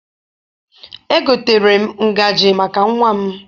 Egotere m ngaji maka nnwa m.